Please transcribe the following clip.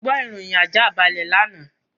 Mo gbọ́ ìròyìn àjáàbalẹ̀ lánàá.